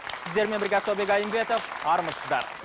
сіздермен бірге асаубек айымбетов армысыздар